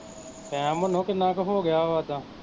time ਮਨੋਂ ਕਿੰਨਾ ਕੁ ਹੋਗਿਆ ਵਾਂ ਓਦਾ